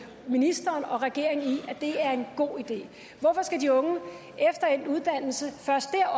ministeren og regeringen i er en god idé hvorfor skal de unge efter endt uddannelse først dér